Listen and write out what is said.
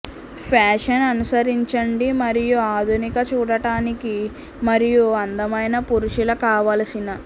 fashion అనుసరించండి మరియు ఆధునిక చూడటానికి మరియు అందమైన పురుషుల కావలసిన